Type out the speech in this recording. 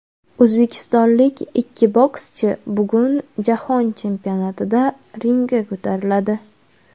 O‘zbekistonlik ikki bokschi bugun Jahon chempionatida ringga ko‘tariladi.